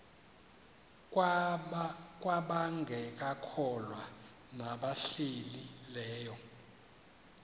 kwabangekakholwa nabahlehli leyo